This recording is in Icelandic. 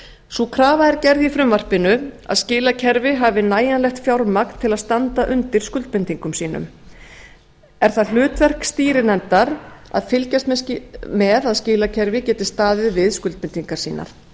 sú krafa er gerð í frumvarpinu að skilakerfi hafi nægilegt fjármagn til að standa undir skuldbindingum sínum er það hlutverk stýrinefndar að fylgjast með að skilakerfi geti staðið við skuldbindingar sínar